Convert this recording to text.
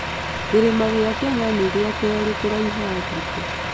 Kĩrĩma gĩa Kenya nĩ gĩa keerĩ kũraiha Abirika.